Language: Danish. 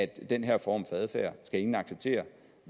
den her form for adfærd skal ingen acceptere